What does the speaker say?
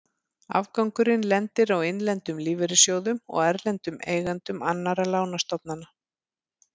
Afgangurinn lendir á innlendum lífeyrissjóðum og erlendum eigendum annarra lánastofnana.